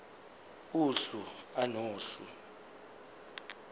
uhlu a nohlu